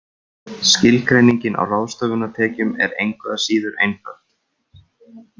Skilgreiningin á ráðstöfunartekjum er engu að síður einföld.